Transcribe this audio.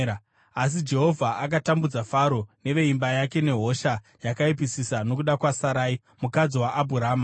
Asi Jehovha akatambudza Faro neveimba yake nehosha yakaipisisa nokuda kwaSarai mukadzi waAbhurama.